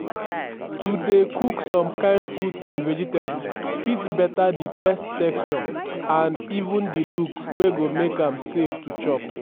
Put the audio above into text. to dey cook some kain fruits and vegetable fit beta di taste texture and even di look wey go make am safe to chop